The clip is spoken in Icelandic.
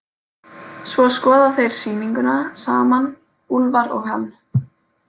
Svo skoða þeir sýninguna saman, Úlfar og hann.